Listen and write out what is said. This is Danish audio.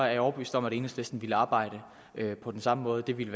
jeg overbevist om at enhedslisten ville arbejde på den samme måde det ville